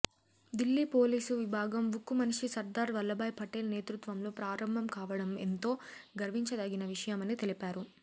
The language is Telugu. దిల్లీ పోలీసు విభాగం ఉక్కు మనిషి సర్దార్ వల్లభాయ్ పటేల్ నేతృత్వంలో ప్రారంభం కావడం ఎంతో గర్వించదగిన విషయమని తెలిపారు